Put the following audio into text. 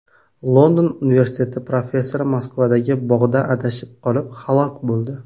London universiteti professori Moskvadagi bog‘da adashib qolib, halok bo‘ldi.